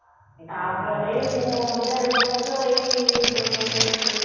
ତା ପରେ ମୁଁ ତ ଏବର୍ଷ ଏଇ